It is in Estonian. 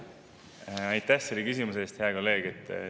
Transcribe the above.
Aitäh selle küsimuse eest, hea kolleeg!